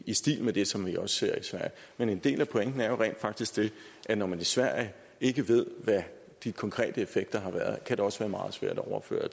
i stil med det som vi også ser i sverige men en del af pointen er jo rent faktisk den at når man i sverige ikke ved hvad de konkrete effekter har været så kan det også være meget svært at overføre